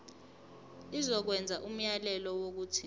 izokwenza umyalelo wokuthi